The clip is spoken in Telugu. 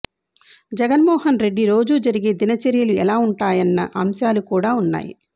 జగన్మోహనరెడ్డి రోజూ జరిగే దిన చర్యలు ఎలా ఉంటాయన్న అంశాలు కూడా ఉన్నాయి